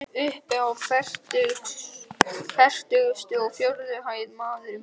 Uppi á fertugustu og fjórðu hæð, maður minn.